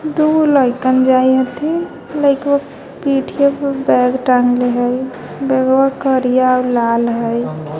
दुगो लइकन जाइत है लइकवा पीठया पे बैग टांगले हय बैग वा करिया और लाल है.